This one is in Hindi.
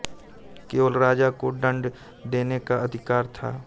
केवल राजा को दंड देने का अधिकार था